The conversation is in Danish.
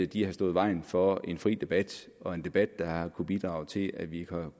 de har stået i vejen for en fri debat og en debat der har kunnet bidrage til at vi har kunnet